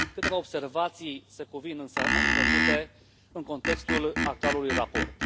Câteva observații se cuvin însă a fi făcute în contextul actualului raport.